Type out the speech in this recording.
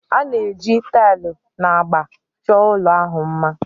A na-eji taịlị na agba chọọ ụlọ ahụ mma